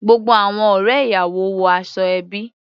Gbogbo àwọn ọ̀rẹ́ ìyàwó wọ aṣọ ẹbí.